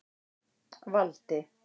Valdi